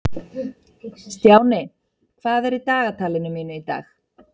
Stjáni, hvað er í dagatalinu mínu í dag?